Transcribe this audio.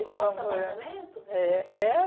Outro apartamento? É, é